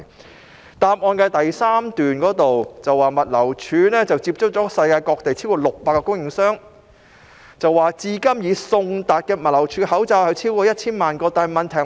主體答覆中第三部分提到，"物流署已接洽了世界各地超過600個供應商......至今已送達物流署的口罩超過1000萬個"。